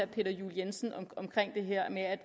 peter juel jensen om det her med at